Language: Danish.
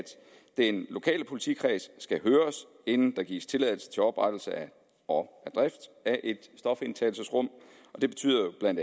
den lokale politikreds skal høres inden der gives tilladelse til oprettelse og drift af et stofindtagelsesrum det betyder jo bla